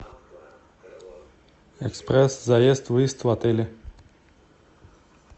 экспресс заезд выезд в отеле